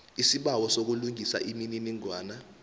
isibawo sokulungisa imininingwana